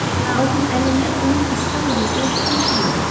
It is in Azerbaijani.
Lakin əlimdə bunu isbat edəcək heç nə yoxdu.